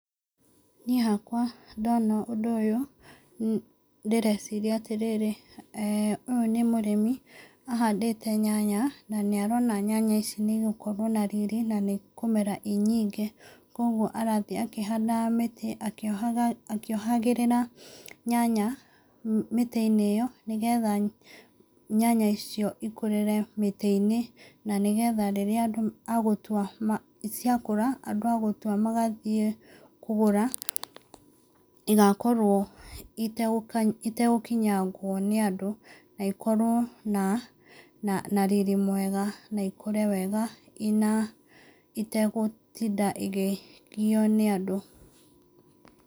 Niĩ hakwa ndona ũndũ ũyũ ndĩreciria atĩrĩrĩ, ũyũ nĩ mũrĩmi ahandĩte nyanya na nĩ arona nyanya ici nĩ igũkorwo na riri na nĩ ikũmera i nyingĩ. Koguo arathiĩ akĩhandaga mĩtĩ akĩohagĩrĩra nyanya mĩtĩ-inĩ ĩyo nĩgetha nyanya icio ikũrĩre mĩtĩ-inĩ, na nĩgetha rĩrĩa andũ a gũtua, ciakũra, andũ a gũtua magathiĩ kũgũra, igakorwo itegũkinyangwo nĩ andũ, na ĩkorwo na riri mwega na ikũre wega ina, itegũtinda ikĩgio nĩ andũ.